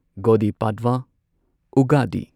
ꯒꯨꯗꯤ ꯄꯥꯗ꯭ꯋ / ꯎꯒꯗꯤ